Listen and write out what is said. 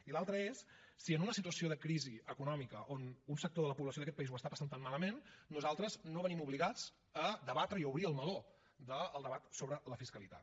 i l’altre és si en una situació de crisi econòmica on un sector de la població d’aquest país ho està passant tan malament nosaltres no venim obligats a debatre i a obrir el meló del debat sobre la fiscalitat